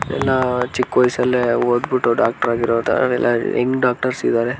ಇವ್ರೆಲ್ಲ ಚಿಕ್ಕ ವಯಸ್ಸಲ್ಲಿ ಓದ್ಬಿಟ್ಟು ಡಾಕ್ಟರ್ ಆಗಿರೋ ತರ ಎಲ್ಲ ಯಂಗ್ ಡಾಕ್ಟರ್ಸ್ ಇದ್ದಾರೆ.